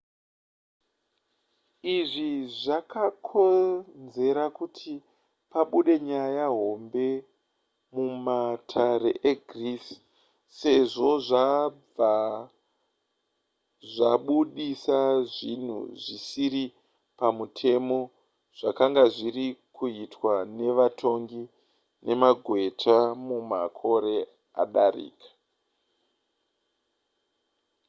izvi zvakonzera kuti pabude nyaya hombe mumatare egreece sezvo zvabva zvabudisa zvinhu zvisiri pamutemo zvakanga zviri kuitwa nevatongi nemagweta mumakore adarika